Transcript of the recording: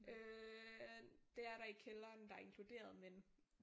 Øh det er der i kælderen der er inkluderet men